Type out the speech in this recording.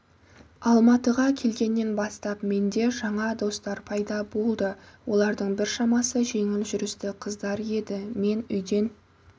алматыға келгеннен бастап менде жаңа достар пайда болды олардың біршамасы жеңіл жүрісті қыздар еді мен үйден